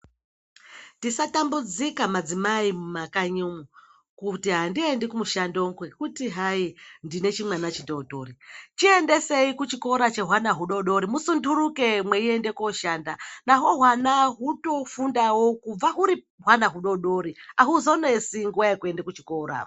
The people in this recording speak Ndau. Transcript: Ndisatambudzika madzimai mumakanyo, kuti andiendi kumushando ngwekuti hayi ndinechimwana chidodori, chiendeseyi kuchikoro chemwana mudodori. Musunduruke muende kushanda nawo wana wundofundawo wauri mwana mudodori hauzonetsi nguwa yokuenda kuchikoro.